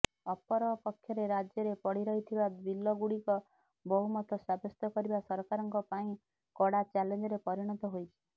ଅପରପକ୍ଷରେ ରାଜ୍ୟରେ ପଡ଼ି ରହିଥିବା ବିଲଗୁଡ଼ିକ ବହୁମତ ସାବ୍ୟସ୍ତ କରିବା ସରକାରଙ୍କ ପାଇଁ କଡ଼ା ଚ୍ୟାଲେଞ୍ଜରେ ପରିଣତ ହୋଇଛି